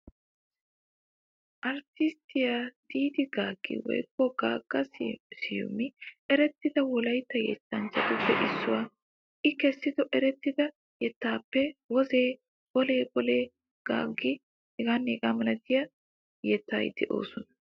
Arttisttiya Diiddi Gaaggi woykko Gaagga Siyumi erettida Wolaytta yettanchchatuppe issuwaa. I kessido erettida yettatuppe wozee, bolee bolee, ganggee,... h.h.m yettati de"oosona.